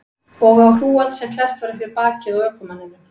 Og á hrúgald sem var klesst upp við bakið á ökumanninum.